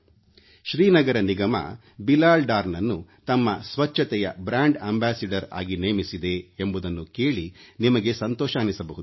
ಶ್ರೀನಗರ ನಿಗಮ ಬಿಲಾಲ್ ಡಾರ್ನನ್ನು ತಮ್ಮ ಸ್ವಚ್ಛತೆಯ ಬ್ರಾಂಡ್ ಅಂಬಾಸಿಡರ್ ಆಗಿ ನೇಮಿಸಿದೆ ಎಂಬುದನ್ನು ಕೇಳಿ ನಿಮಗೆ ಸಂತೋಷವೆನ್ನಿಸಬಹುದು